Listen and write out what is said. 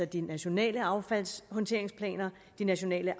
de nationale affaldshåndteringsplaner de nationale